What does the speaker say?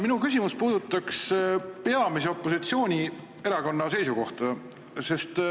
Minu küsimus puudutab peamise opositsioonierakonna seisukohta.